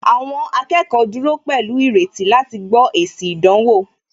Àwọn akẹ́kọ̀ọ́ dúró pẹ̀lú ìrètí láti gbó èsì ìdánwò